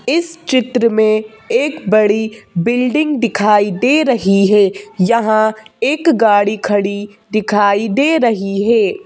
इस चित्र में एक बड़ी बिल्डिंग दिखाई दे रही है यहां एक गाड़ी खड़ी दिखाई दे रही है।